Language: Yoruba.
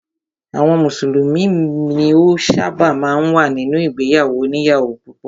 Àwọn mùsùlùmí ni ó ṣábà máa ń wà nínú ìgbéyàwó òníyàwó púpọ̀.